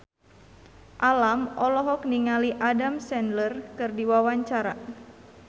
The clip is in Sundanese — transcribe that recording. Alam olohok ningali Adam Sandler keur diwawancara